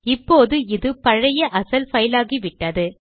இப்போது இது பழைய அசல் பைல் ஆகிவிட்டது